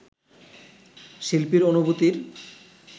শিল্পীর অনুভূতির